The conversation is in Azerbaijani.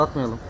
Çatmayalım.